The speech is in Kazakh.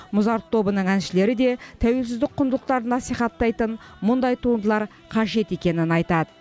музарт тобының әншілері де тәуелсіздік құндылықтарын насихаттайтын мұндай туындылар қажет екенін айтады